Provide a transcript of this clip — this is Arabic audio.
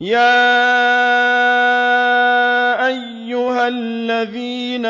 يَا أَيُّهَا الَّذِينَ